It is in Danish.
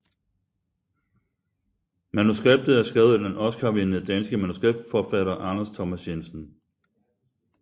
Manuskriptet er skrevet af den Oscarvindende danske manuskriptforfatter Anders Thomas Jensen